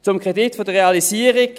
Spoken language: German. Zum Kredit der Realisierung: